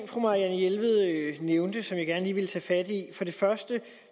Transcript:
fru marianne jelved nævnte som jeg gerne lige vil tage fat i for det første